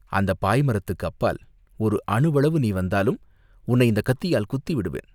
அந்தப் பாய்மரத்துக்கு அப்பால் ஒரு அணுவளவு நீ வந்தாலும் உன்னை இந்தக் கத்தியால் குத்தி விடுவேன்.